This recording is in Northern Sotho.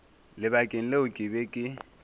lebakeng leo ke be ke